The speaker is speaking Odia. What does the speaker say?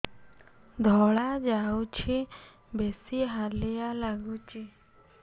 ଧଳା ଯାଉଛି ବେଶି ହାଲିଆ ଲାଗୁଚି